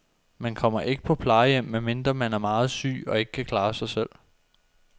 Man kommer ikke på plejehjem, medmindre man er meget syg og ikke kan klare sig selv.